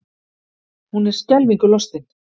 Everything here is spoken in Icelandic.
Hún er skelfingu lostin.